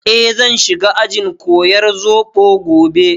Eh, zan shiga ajin koyar zobo gobe